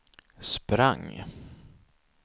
sprang